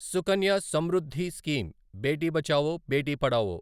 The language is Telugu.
సుకన్య సమృద్ధి స్కీమ్ బేటి బచావో బేటి పడావో